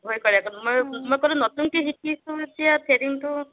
ভয় কৰে মই ক'লো নতুনকে শিকিছা যদি threading টো